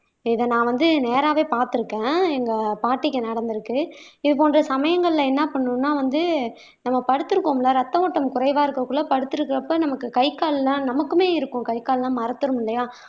இத நான் வந்து நேராவே பார்த்திருக்கேன் எங்க பாட்டிக்கு நடந்திருக்கு இது போன்ற சமயங்கள்ல என்ன பண்ணணும்ன்னா வந்து நம்ம படுத்திருக்கோம்ல ரத்த ஓட்டம் குறைவா இருக்கக்குள்ள படுத்திருக்கப்ப நமக்கு கை கால் எல்லாம் நமக்குமே இருக்கும் கை கால் எல்லாம் மறத்துரும் இல்லையா